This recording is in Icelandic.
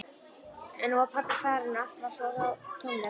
En nú var pabbi farinn og allt varð svo tómlegt.